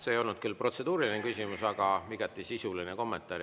See ei olnud küll protseduuriline küsimus, vaid sisuline kommentaar.